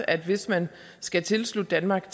at hvis man skal tilslutte danmark